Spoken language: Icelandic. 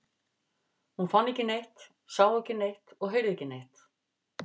Hún fann ekki neitt, sá ekki neitt og heyrði ekki neitt.